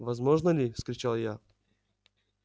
возможно ли вскричал я